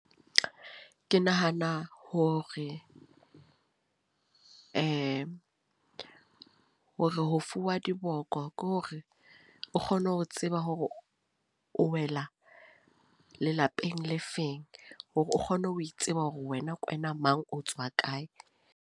Ke nahana hore hore ho fuwa diboko ke hore o kgone ho tseba hore o wela lelapeng le feng. Hore o kgone ho tseba hore wena ke wena o mang, otswa kae.